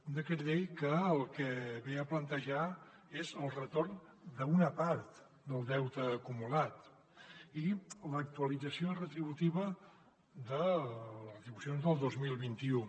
un decret llei que el que ve a plantejar és el retorn d’una part del deute acumulat i l’actualització retributiva de les retribucions del dos mil vint u